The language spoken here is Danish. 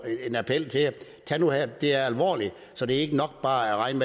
en appel det er alvorligt så det er ikke nok bare at regne